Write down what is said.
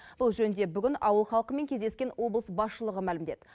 бұл жөнінде бүгін ауыл халқымен кездескен облыс басшылығы мәлімдеді